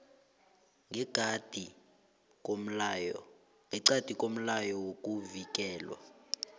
ngeqadi komlayo wokuvikelwa